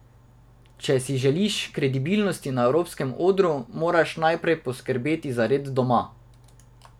Če si želiš kredibilnosti na evropskem odru, moraš najprej poskrbeti za red doma.